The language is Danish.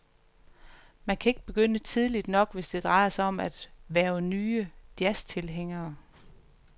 Man kan ikke begynde tidligt nok, hvis det drejer sig om at hverve nye jazztilhængere.